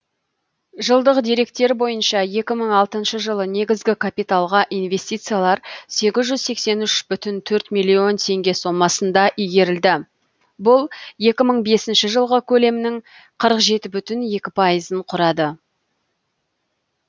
жылдық деректер бойынша жылы негізгі капиталға инвестициялар миллион теңге сомасында игерілді бұл жылғы көлемнің ын құрады